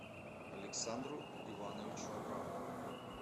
александру ивановичу абрамову